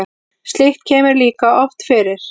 slíkt kemur líka oft fyrir